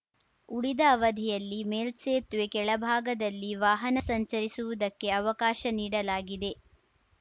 ಉಳಿದ ಅವಧಿಯಲ್ಲಿ ಮೇಲ್ಸೇತುವೆ ಕೆಳಭಾಗದಲ್ಲಿ ವಾಹನ ಸಂಚರಿಸುವುದಕ್ಕೆ ಅವಕಾಶ ನೀಡಲಾಗಿದೆ